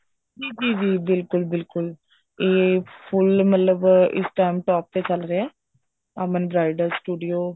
ਜੀ ਜੀ ਜੀ ਬਿਲਕੁਲ ਬਿਲਕੁਲ ਇਹ full ਮਤਲਬ ਇਸ time top ਤੇ ਚੱਲ ਰਿਹਾ ਅਮਨ bridal studio